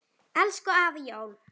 Elsku afi Jón.